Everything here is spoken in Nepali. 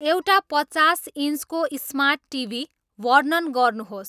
एउटा पचास इन्चको स्मार्ट टिभी वर्णन गर्नुहोस्